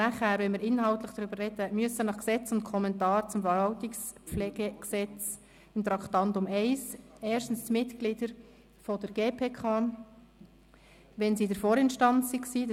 Wenn wir danach inhaltlich darüber reden, müssen gemäss VRPG und dazugehörigem Kommentar beim Traktandum 1 erstens die Mitglieder der GPK in den Ausstand treten, wenn sie in der Vorinstanz gewesen sind.